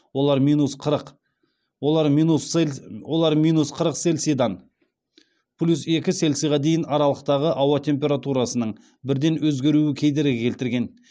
олар минус қырық селсидан плюс екі селсиға дейін аралықтағы ауа температурасының бірден өзгеруі кедергі келтірген